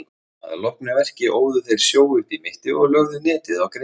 Að loknu verki óðu þeir sjó upp í mitti og lögðu netið á grynningarnar.